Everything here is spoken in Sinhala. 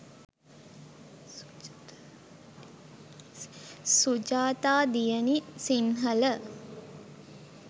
sujatha diyani sinhala